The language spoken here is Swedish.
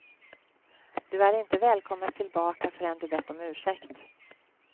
Du är inte välkommen tillbaka förrän du bett om ursäkt.